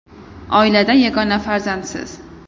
Oilada yagona farzandsiz.